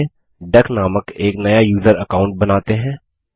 चलिए डक नामक एक नया यूज़र अकाउंट बनाते हैं